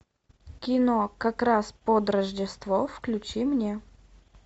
кино как раз под рождество включи мне